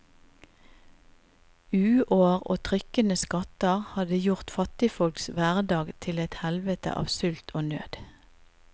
Uår og trykkende skatter hadde gjort fattigfolks hverdag til et helvete av sult og nød.